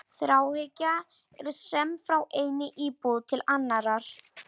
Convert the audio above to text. Þráhyggja er söm frá einni íbúð til annarrar.